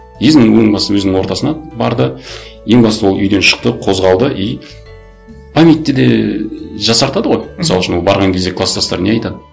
ең басы өзінің ортасына барды ең басты ол үйден шықты қозғалды и памятьтті де жасартады ғой мысал үшін ол барған кезде кластастар не айтады